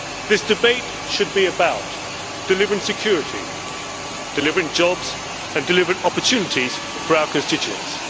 This debate should be about delivering security, delivering jobs and delivering opportunities for our constituents.